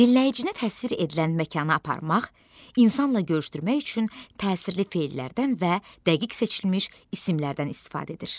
Dinləyicinə təsir edilən məkana aparmaq, insanla görüşdürmək üçün təsirli fellərdən və dəqiq seçilmiş isimlərdən istifadə edir.